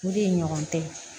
U de ɲɔgɔn tɛ